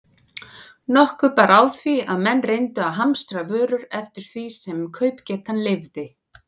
Nokkuð bar á því, að menn reyndu að hamstra vörur eftir því sem kaupgetan leyfði.